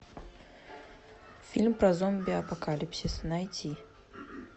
фильм про зомби апокалипсис найти